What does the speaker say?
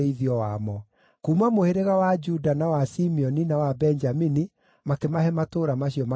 Kuuma mũhĩrĩga wa Juda, na wa Simeoni, na wa Benjamini makĩmahe matũũra macio magwetetwo.